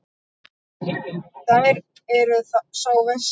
Þér eruð sá versti.